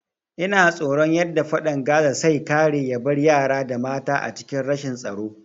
Ina tsoron yadda fadan Gaza sai kare yabar yara da mata a cikin rashin tsaro